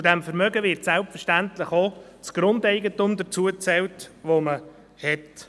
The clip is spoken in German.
Zu diesem Vermögen wird selbstverständlich auch das Grundeigentum dazugezählt, das man hat.